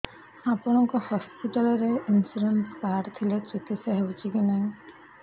ଆପଣଙ୍କ ହସ୍ପିଟାଲ ରେ insurance card ଥିଲେ ଚିକିତ୍ସା ହେଉଛି କି ନାଇଁ